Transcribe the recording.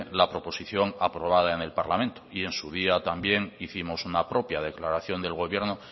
la proposición aprobada en el parlamento y en su día también hicimos una propia declaración del gobierno